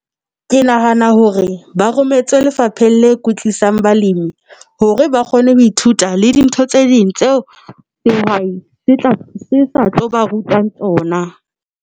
Ke nahana hore ba rometse lefapheng le kwetlisang balimi hore ba kgone ho ithuta le dintho tse ding tseo dihwai se sa tlo ba rutang tsona.